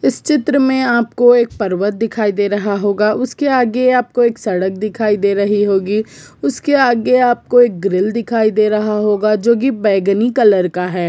इस चित्र मे आप को एक पर्वत दिखाई दे रहा होगा उसके आगे आप को एक सड़क दिखाई दे रही होगी उसके आगे आप को एक ग्रिल दिखाई दे रहा होगा जो की बैंगनी कलर का है।